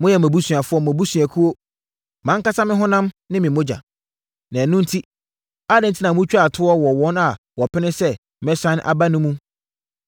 Moyɛ mʼabusuafoɔ, mʼabusuakuo, mʼankasa me honam ne me mogya. Na ɛno enti, adɛn enti na motwa toɔ wɔ wɔn a wɔpene sɛ mɛsane aba no mu?”